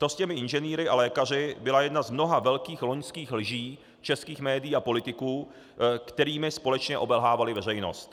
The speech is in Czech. To s těmi inženýry a lékaři byla jedna z mnoha velkých loňských lží českých médií a politiků, kterými společně obelhávali veřejnost.